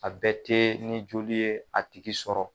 A bɛɛ tɛ ni joli ye a tigi sɔrɔ